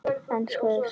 Enska eða Spænska?